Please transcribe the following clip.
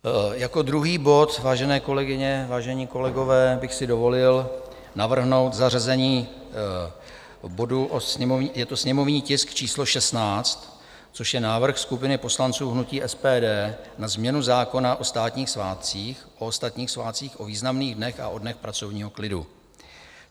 Jako druhý bod, vážené kolegyně, vážení kolegové, bych si dovolil navrhnout zařazení bodu, je to sněmovní tisk číslo 16, což je Návrh skupiny poslanců hnutí SPD na změnu zákona o státních svátcích, o ostatních svátcích, o významných dnech a o dnech pracovního klidu.